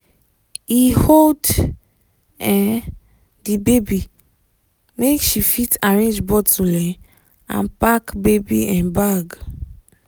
he hold um the baby make she fit arrange bottle um and pack baby um bag